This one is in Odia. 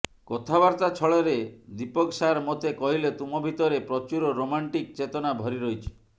କଥାବାର୍ତ୍ତା ଛଳରେ ଦୀପକ ସାର୍ ମୋତେ କହିଲେ ତୁମ ଭିତରେ ପ୍ରଚୁର ରୋମାଣ୍ଟିକ ଚେତନା ଭରି ରହିଛି